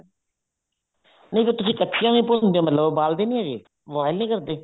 ਨਹੀਂ ਫ਼ੇਰ ਤੁਸੀਂ ਕੱਚੀਆਂ ਭੁੰਨਦੇ ਹੋਣ ਉਬਾਲ ਦੇ ਨੀ ਹੈਗੇ boil ਨੀ ਕਰਦੇ